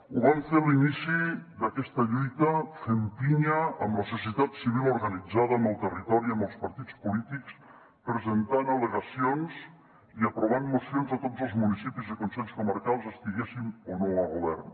ho vam fer a l’inici d’aquesta lluita fent pinya amb la societat civil organitzada amb el territori amb els partits polítics presentant al·legacions i aprovant mocions a tots els municipis i consells comarcals estiguéssim o no a govern